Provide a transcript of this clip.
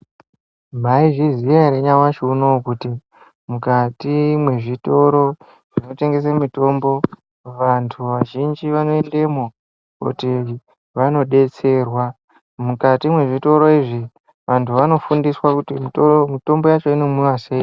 Mwaizviziya ere kuti nyamushi unowu kuti mukati mwezvitoro zvinotengese mitombo vantu vazhinji vanoendemwo koti vandodetserwa, mukati mwezvitoro izvi vantu vanodetserwa kuti mutombo yacho inomwiwa sei.